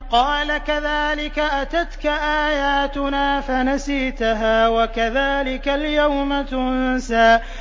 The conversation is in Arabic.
قَالَ كَذَٰلِكَ أَتَتْكَ آيَاتُنَا فَنَسِيتَهَا ۖ وَكَذَٰلِكَ الْيَوْمَ تُنسَىٰ